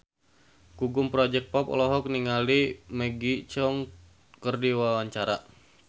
Gugum Project Pop olohok ningali Maggie Cheung keur diwawancara